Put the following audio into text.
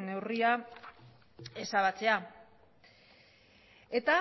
neurria ezabatzea eta